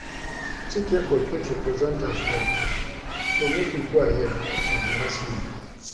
Chike go fit represent us well so make he go ahead with the wrestling